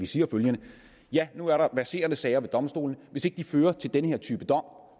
siger følgende ja nu er der verserende sager ved domstolene og hvis ikke de fører til den her type dom